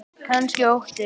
Kannski óttinn.